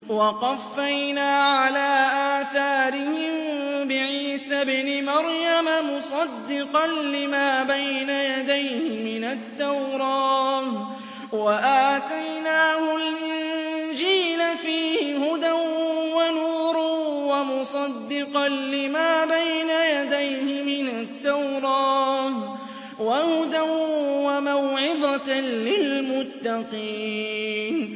وَقَفَّيْنَا عَلَىٰ آثَارِهِم بِعِيسَى ابْنِ مَرْيَمَ مُصَدِّقًا لِّمَا بَيْنَ يَدَيْهِ مِنَ التَّوْرَاةِ ۖ وَآتَيْنَاهُ الْإِنجِيلَ فِيهِ هُدًى وَنُورٌ وَمُصَدِّقًا لِّمَا بَيْنَ يَدَيْهِ مِنَ التَّوْرَاةِ وَهُدًى وَمَوْعِظَةً لِّلْمُتَّقِينَ